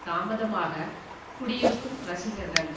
தாமதமாக குடியிருக்கும் ரசிகர்கள்